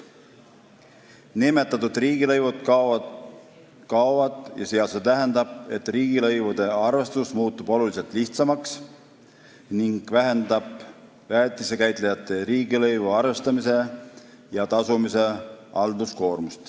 Nimetatud riigilõivud kaovad, mis tähendab, et riigilõivude arvestus muutub oluliselt lihtsamaks ning väheneb väetisekäitlejate riigilõivu arvestamise ja tasumisega seotud halduskoormus.